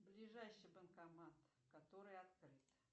ближайший банкомат который открыт